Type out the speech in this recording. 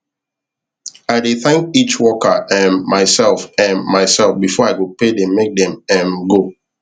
i dey thank each worker um myself um myself befor i go pay them make them um go